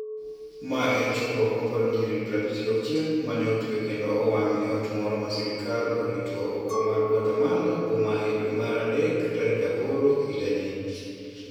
Ma en chokruok ma paro nyiri 56 ma ne otwe kendo owang ' e ot moro ma sirkal orito oko mar Guatemala boma e dwe mar Mach tarik 8 higani.